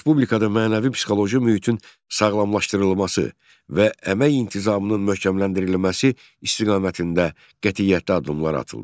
Respublikada mənəvi-psixoloji mühitin sağlamlaşdırılması və əmək intizamının möhkəmləndirilməsi istiqamətində qətiyyətli addımlar atıldı.